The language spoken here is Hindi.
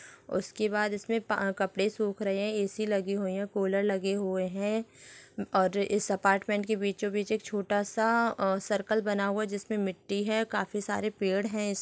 उसके बाद इसमें प कपड़े सुख रहे है ए_सी लगी हुई है कूलर लगे हुए है और इस अपार्टमेंट के बीचों-बीच एक छोटा सा अ सर्कल बना हुआ है जिसमे मिट्टी है काफी सारे पेड़ है इस --